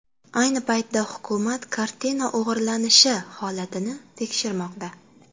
Ayni paytda hukumat kartina o‘g‘irlanishi holatini tekshirmoqda.